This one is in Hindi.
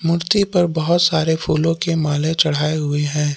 मूर्ति पर बहुत सारे फूलों की माले चढ़ाए हुए हैं।